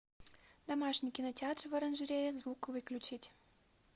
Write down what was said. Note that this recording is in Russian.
домашний кинотеатр в оранжерее звук выключить